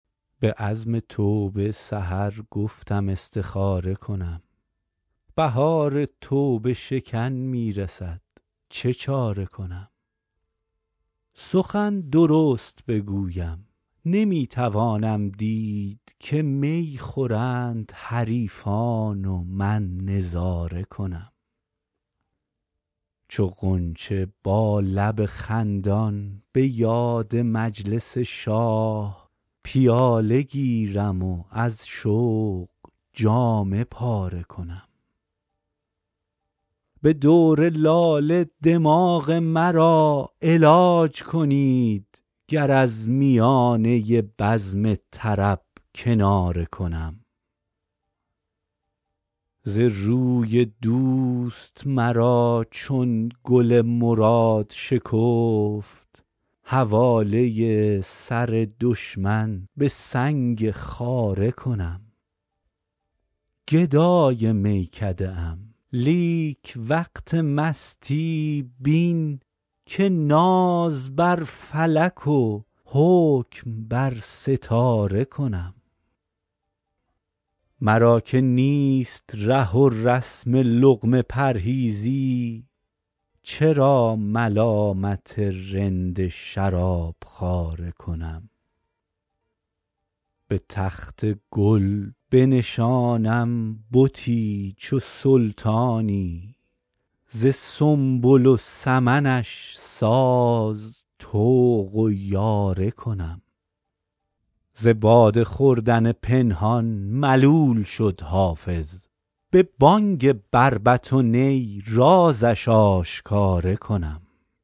به عزم توبه سحر گفتم استخاره کنم بهار توبه شکن می رسد چه چاره کنم سخن درست بگویم نمی توانم دید که می خورند حریفان و من نظاره کنم چو غنچه با لب خندان به یاد مجلس شاه پیاله گیرم و از شوق جامه پاره کنم به دور لاله دماغ مرا علاج کنید گر از میانه بزم طرب کناره کنم ز روی دوست مرا چون گل مراد شکفت حواله سر دشمن به سنگ خاره کنم گدای میکده ام لیک وقت مستی بین که ناز بر فلک و حکم بر ستاره کنم مرا که نیست ره و رسم لقمه پرهیزی چرا ملامت رند شراب خواره کنم به تخت گل بنشانم بتی چو سلطانی ز سنبل و سمنش ساز طوق و یاره کنم ز باده خوردن پنهان ملول شد حافظ به بانگ بربط و نی رازش آشکاره کنم